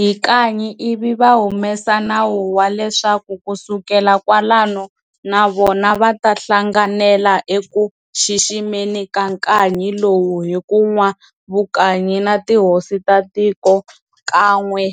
Hi nkanyi ivi vahumesa nawu waleswaku kusukela kwalano navona vatahlanganela eku xiximeni kankanyi lowu hi ku nwa vukanyi na tihosi ta tiko kan'we